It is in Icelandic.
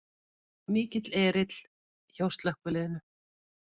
Mikill erill hjá slökkviliðinu